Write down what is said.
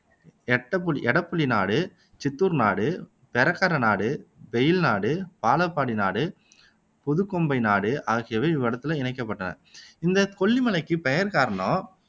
எட்டப்புலி எடப்புலி நாடு, சித்தூர் நாடு, பெரக்கரை நாடு, பெயில் நாடு, பலாப்பாடி நாடு, புதுக்கோம்பை நாடு ஆகியவை இவ்வட்டத்தில இணைக்கப்பட்டன இந்த கொல்லி மலைக்கு பெயர்க்காரணம்